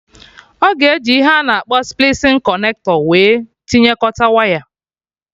Ọ ga eji ihe a na-akpọ splicing connector wee tinyekọta waya